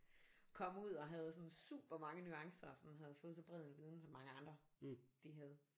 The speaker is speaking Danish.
Kom ud og havde sådan super mange nuancer og sådan havde fået så bred en viden som mange andre de havde